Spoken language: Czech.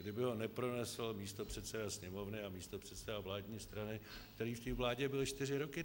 Kdyby ho nepronesl místopředseda Sněmovny a místopředseda vládní strany, který v té vládě byl čtyři roky.